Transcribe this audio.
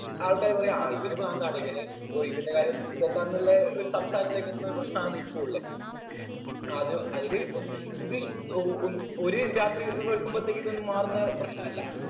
ആൾക്കാര് പറയും ആ ഇവന് പ്രാന്താണ് ഇവന് ഓ ഇവന്റെ കാര്യം പോക്കാന്നുള്ള ഒരു സംസാരത്തിലേക്ക് എത്തുന്ന ഒരു പ്രശ്നമാണ് ഇപ്പൊ ഉള്ളെ അത് അതില് ഇപ്പം ഇത് ഒ ഉം ഒര് രാത്രി വെളുക്കുമ്പോത്തേക്കൊന്നും ഇതൊന്നും മാറുന്ന പ്രശ്നമല്ല